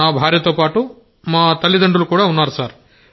నా భార్యతో పాటు మా తల్లిదండ్రులు ఉన్నారు సార్